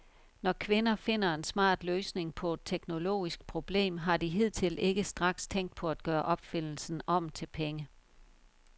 Når kvinder finder en smart løsning på et teknologisk problem, har de hidtil ikke straks tænkt på at gøre opfindelsen om til penge.